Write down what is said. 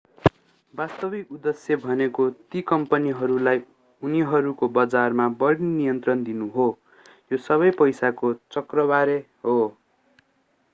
वास्तविक उद्देश्य भनेको ती कम्पनीहरूलाई उनीहरूको बजारमा बढी नियन्त्रण दिनु हो यो सबै पैसाको चक्रबारे हो